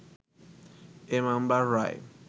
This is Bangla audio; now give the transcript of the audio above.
এ মামলার রায়